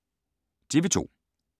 TV 2